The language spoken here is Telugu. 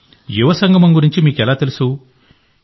యువ సంగమం గురించి మీకు ఎలా తెలుసు యువ